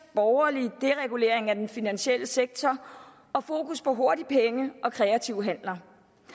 borgerlig deregulering af den finansielle sektor og fokus på hurtige penge og kreative handler